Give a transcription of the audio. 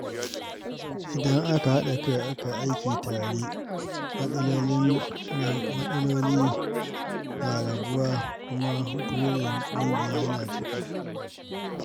Idan aka haɗa kai aka yi aiki tare, matsaloli na raguwa kuma burin ƙungiya yana cika.